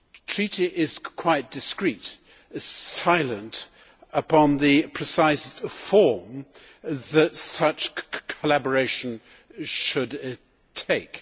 treaty is quite discreet silent upon the precise form that such collaboration should take.